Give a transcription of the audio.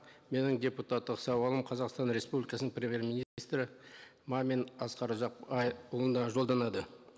менің депутаттық сауалым қазақстан республикасының премьер министрі мамин асқар ұзақбайұлына жолданады